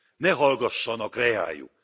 Ne hallgassanak reájuk!